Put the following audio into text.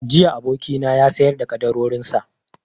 Jiya abokina ya sayar da ƙaddarorin sa